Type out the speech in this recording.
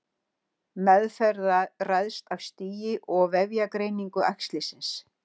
Meðferð ræðst af stigi og vefjagreiningu æxlisins.